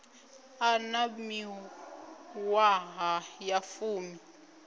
a na miṅwaha ya fumi